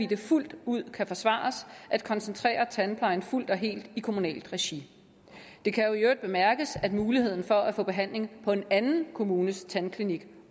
det fuldt ud kan forsvares at koncentrere tandplejen fuldt og helt i kommunalt regi det kan i øvrigt bemærkes at muligheden for at få behandling på en anden kommunes tandklinik